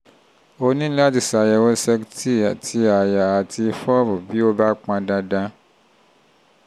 o ní láti ṣe àyẹ̀wò cect ti àyà àti fob bí ó bá pọn dandan